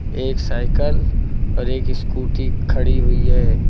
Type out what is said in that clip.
एक साइकल पर एक स्कूटी खड़ी हुई है।